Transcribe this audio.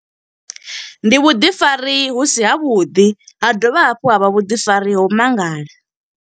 Ndi vhuḓifari hu si ha vhuḓi, ha dovha hafhu ha vha vhuḓifari ho mangala.